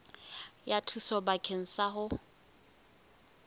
ya thuso bakeng sa ho